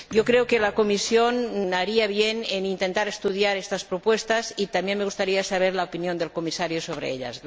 Creo que la Comisión haría bien en intentar estudiar estas propuestas y también me gustaría saber la opinión del Comisario sobre ellas.